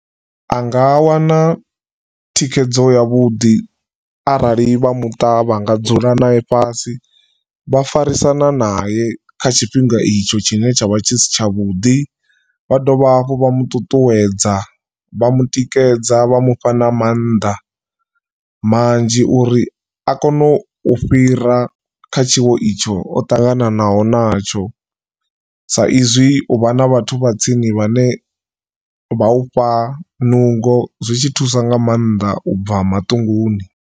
Anga wana thikhedzo ya vhuḓi arali vha muṱa vha nga dzula nae fhasi vha farisana nae kha tshifhinga itsho tshine tshavha tshi si tshavhuḓi, vha dovha hafhu vha muṱuṱuwedza vha mutikedza vha mufha na mannḓa manzhi uri a kone u fhira kha tshiwo itsho o ṱanganaho natsho sa izwi uvha na vhathu vha tsini vhane vha ufha nungo zwi tshi thusa nga maanḓa ubva maṱunguni.